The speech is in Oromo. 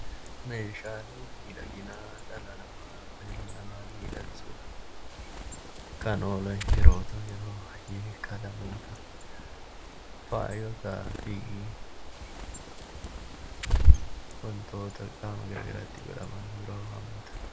Meeshaaleen miidhaginaa dhala namaaf yookaan ilma namaq miidhagsuuf kan oolan yeroo ta'u, yeroo baay'ee qalamoota, faayotaa fi wantoota qaama gara garaatti godhaman biroo hammata.